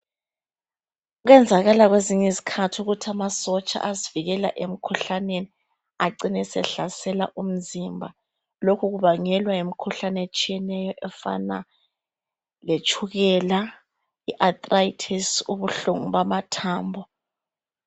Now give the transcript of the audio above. Kuyenzakala kwezinye izikhathi ukuthi amasotsha asivikela emkhuhlaneni acine sehlasela umzimba. Lokhu kubangelwa yimikhuhlane etshiyeneyo efana letshukela, iarthritis ubuhlungu bamathambo.